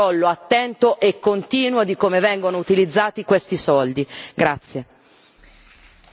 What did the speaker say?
Io invito a un monitoraggio, a un controllo attento e continuo di come vengono utilizzati questi soldi.